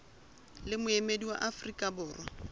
le moemedi wa afrika borwa